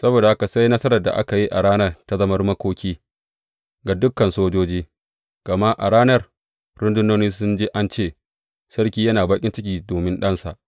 Saboda haka sai nasarar da aka yi a ranar ta zama makoki ga dukan sojoji, gama a ranar, rundunoni sun ji an ce, Sarki yana baƙin ciki domin ɗansa.